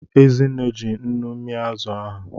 Ezinne ji nnu mia azụ ahụ.